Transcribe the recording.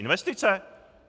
Investice?